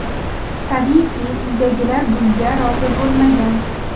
Tabiiyki, uydagilar bunga rozi bo‘lmagan.